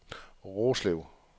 Roslev